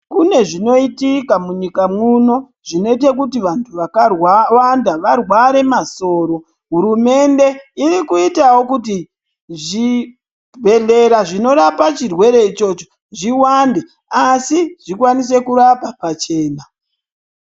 Kune zvinoitika munyika muno kuti vantu varware masoro hurumende iri kuitawo kuti zvibhedhlera zvinorapa chirwere ichicho zviwande asi zvikwanise kurapa pachena.